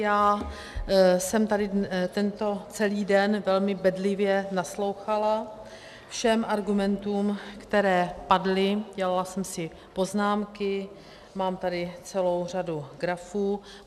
Já jsem tady tento celý den velmi bedlivě naslouchala všem argumentům, které padly, dělala jsem si poznámky, mám tady celou řadu grafů.